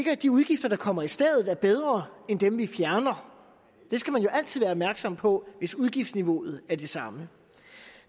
at de udgifter der kommer i stedet er bedre end dem vi fjerner det skal man jo altid være opmærksom på hvis udgiftsniveauet er det samme